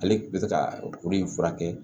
Ale tun bɛ fɛ ka kuru in furakɛ